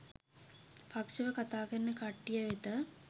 පක්ෂව කතා කරන කට්ටිය වෙත